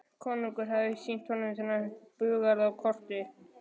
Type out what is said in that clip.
Konungur hafði sýnt honum þennan búgarð á korti.